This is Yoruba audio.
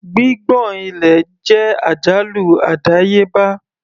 Gbígbọ̀n ilẹ̀ jẹ́ àjálù àdáyébá.